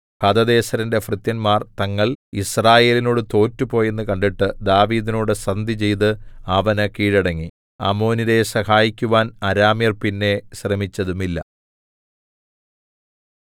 ഹദദേസെരിന്റെ ഭൃത്യന്മാർ തങ്ങൾ യിസ്രായേലിനോടു തോറ്റുപോയെന്ന് കണ്ടിട്ട് ദാവീദിനോടു സന്ധിചെയ്തു അവന് കീഴടങ്ങി അമ്മോന്യരെ സഹായിക്കുവാൻ അരാമ്യർ പിന്നെ ശ്രമിച്ചതുമില്ല